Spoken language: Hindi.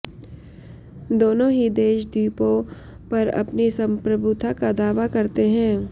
दोनों ही देश द्वीपों पर अपनी संप्रभुता का दावा करते हैं